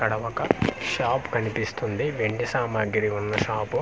ఇక్కడ ఒక షాప్ కనిపిస్తుంది వెండి సామాగ్రి వున్న షాపు .